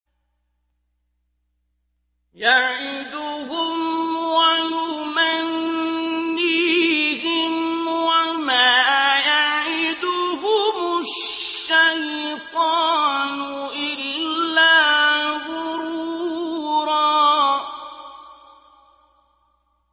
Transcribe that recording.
يَعِدُهُمْ وَيُمَنِّيهِمْ ۖ وَمَا يَعِدُهُمُ الشَّيْطَانُ إِلَّا غُرُورًا